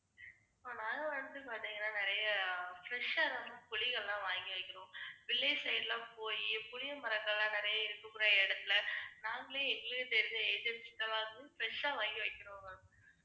fresh ஆ தான் ma'am புளி எல்லாம் வாங்கி வைக்கணும். village side லாம் போயி புளியமரங்களாம் நிறைய இருக்குற இடத்துல நாங்களே எங்களுக்கு தெரிஞ்ச agency fresh ஆ வாங்கி வைக்குறோம் ma'am.